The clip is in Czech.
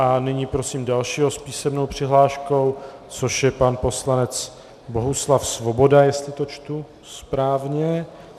A nyní prosím dalšího s písemnou přihláškou, což je pan poslanec Bohuslav Svoboda, jestli to čtu správně.